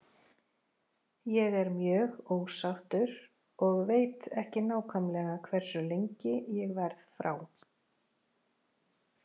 Ég er mjög ósáttur og veit ekki nákvæmlega hversu lengi ég verð frá.